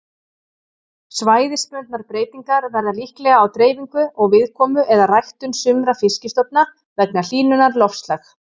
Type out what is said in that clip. Svæðisbundnar breytingar verða líklega á dreifingu og viðkomu eða ræktun sumra fiskistofna vegna hlýnunar loftslag.